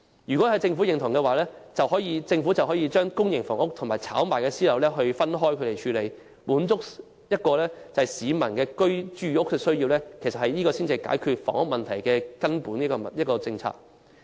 如果政府贊同我的建議，便應把公營房屋及可供炒賣的私樓分開處理，以滿足市民的住屋需要，其實這才是解決房屋問題的根本政策。